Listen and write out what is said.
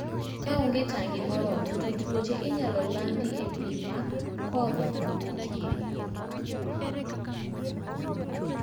Kaonge tang' moromo to tuoche inyalo landi e pi ma kodhi wuokie